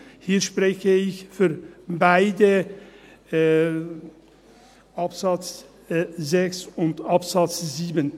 Hier spreche ich eigentlich über beide, über Absatz 6 und Absatz 7.